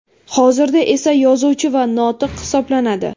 Hozirda esa yozuvchi va notiq hisoblanadi.